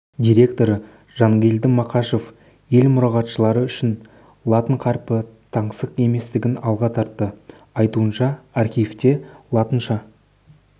директоры жангелді мақашев ел мұрағатшылары үшін латын қарпі таңсық еместігін алға тартты айтуынша архивте латынша